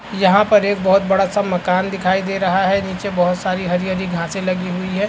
यहाँ पर एक बहुत बड़ा-सा मकान दिखाई दे रहा हैं नीचे बहुत सारी हरी-हरी घासें लगी हुई है।